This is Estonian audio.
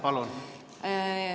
Palun!